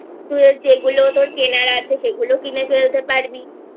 তোর যেগুলো কেনার আছে সেগুলোও কিনে ফেলতে পারবিI